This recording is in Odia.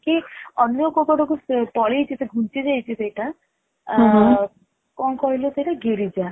କି ଅନ୍ୟ କଉ ପଟକୁ ପଳେଇଚି କି ଘୁଞ୍ଚି ଯାଇଛି ସେଟା କଣ କହିଲୁ ସେଟା ଗିରିଜା